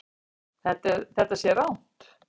Þetta sé rangt.